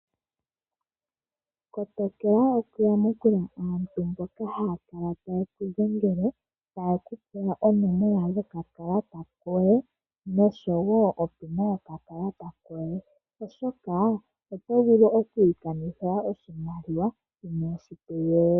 Kotokela okuyamukula aantu mboka haya kala taye kudhengele taakupula oonomala dhokakalata koye nosho woo opina yokakalata koye oshoka otovulu okwiikanithila oshimaliwa inoshi tegelela.